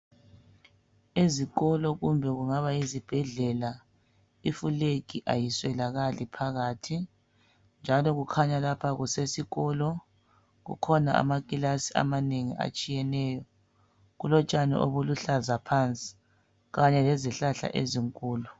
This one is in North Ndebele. Ezikolo kumbe kungabayizibhedlela ifulegi ayiswelakali phakathi njalo kukhanya lapha kusesikolo kukhona amakilasi amanengi atshiyeneyo. Kulotshani obuluhlaza phansi kanye lezihlahla ezinkulu.